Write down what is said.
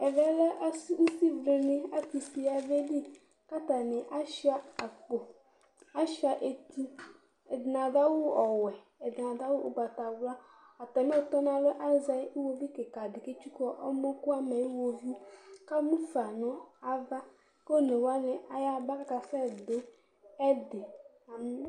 Ɛvɛlɛ ʋsivlìŋí, atu ʋsi yabeli kʋ ataŋi asʋia akpo Asʋia etu Ɛɖìní aɖu awu ɔwɛ ɛɖìní aɖu awu ugbatawla Atami ɔtɔnu alɔɛ azɛ ʋwovi kìka ɖi kʋ etsʋku ɔmɔ kʋ amɛ ayʋ ʋwovi kʋ ɛmʋfa ŋu ava kʋ ɔne waŋi ayaba kʋ akasɛ bi Ɛɖi